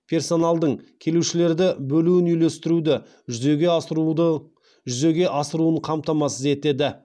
персоналдың келушілерді бөлуін үйлестіруді жүзеге асыруын қамтамасыз етеді